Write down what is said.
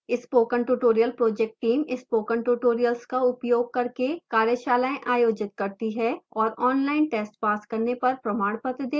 spoken tutorial project team spoken tutorials का उपयोग करके कार्यशालाएँ आयोजित करती है और ऑनलाइन टेस्ट पास करने पर प्रमाणपत्र देती है